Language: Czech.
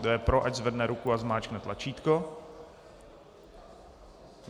Kdo je pro, ať zvedne ruku a zmáčkne tlačítko.